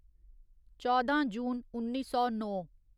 चौदां जून उन्नी सौ नौ